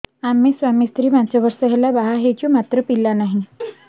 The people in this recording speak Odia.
ଆମେ ସ୍ୱାମୀ ସ୍ତ୍ରୀ ପାଞ୍ଚ ବର୍ଷ ହେଲା ବାହା ହେଇଛୁ ମାତ୍ର ପିଲା ନାହିଁ